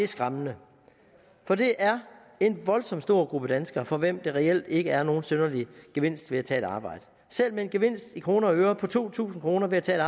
skræmmende for det er en voldsom stor gruppe danskere for hvem der reelt ikke er nogen synderlig gevinst ved at tage et arbejde selv med en gevinst i kroner og øre på to tusind kroner ved at tage